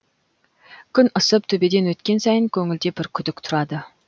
күн ысып төбеден өткен сайын көңілде бір күдік тұрады